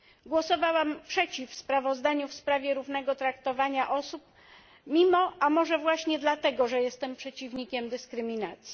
Głosowałam przeciw sprawozdaniu w sprawie równego traktowania osób, mimo, a może właśnie dlatego, że jestem przeciwnikiem dyskryminacji.